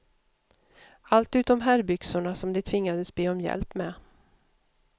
Allt utom herrbyxorna, som de tvingades be om hjälp med.